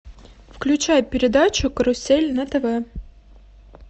включай передачу карусель на тв